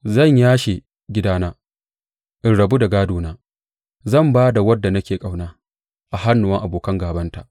Zan yashe gidana, in rabu da gādona; Zan ba da wadda nake ƙauna a hannuwan abokan gābanta.